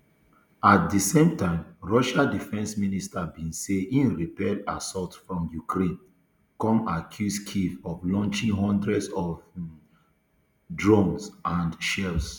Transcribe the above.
at di same time russia defence ministry bin say e repel assaults from ukraine come accuse kyiv of launching hundreds of um drones and shells